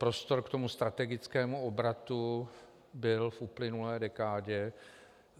Prostor k tomu strategickému obratu byl v uplynulé dekádě.